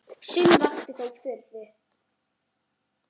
Sumt vakti þó furðu.